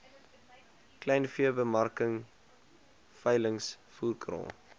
kleinveebemarking veilings voerkraal